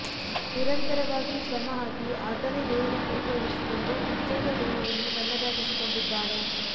ನಿರಂತರವಾಗಿ ಶ್ರಮ ಹಾಕಿ ಆತನೇ ದೇಹದ ತೂಕ ಇಳಿಸಿಕೊಂಡು ಪೀಚಾದ ದೇಹವನ್ನು ತನ್ನದಾಗಿಸಿಕೊಂಡಿದ್ದಾನೆ